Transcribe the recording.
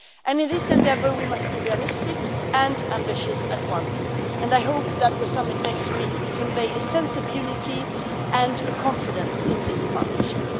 In this endeavour, we must be realistic and ambitious all at once, and I hope that the summit next week will convey a sense of unity and confidence in this partnership.